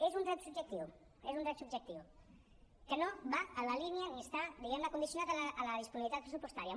és un dret subjectiu és un dret subjectiu que no va en la línia ni està diguem ne condicionat a la disponibilitat pressupostària